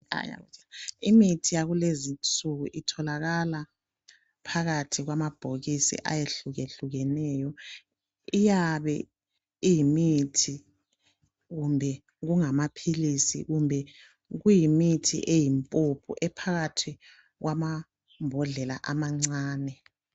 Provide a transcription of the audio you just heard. Imithi yakulezi nsuku itholakala phakathi kwamabhokisi ayehlukehlukeneyo. Iyabe iyimithi kumbe kungamaphilisi kumbe kuyimithi eyimpuphu ephakathi kwamambodlela amancane.